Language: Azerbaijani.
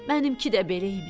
Mənimki də belə imiş.